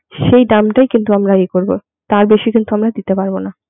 সেই দামটাই কিন্তু আমরা ইয়ে করবো তার বেশি কিন্তু আমরা দিতে পারবো না.